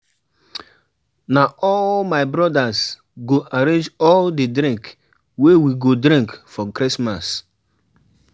Na all my brodas go arrange all di drink wey we go drink for Christmas.